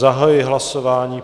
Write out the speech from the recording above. Zahajuji hlasování.